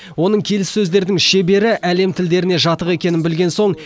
оның келіссөздердің шебері әлем тілдеріне жатық екенін білген соң